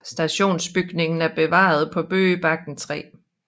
Stationsbygningen er bevaret på Bøgebakken 3